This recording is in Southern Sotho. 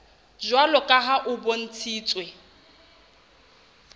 jwalo ka ha ho bontshitswe